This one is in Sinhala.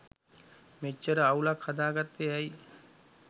මෙච්චර අවුලක් හදාගත්තෙ ඇයි.